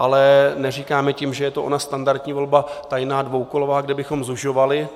Ale neříkáme tím, že je to ona standardní volba tajná dvoukolová, kde bychom zužovali.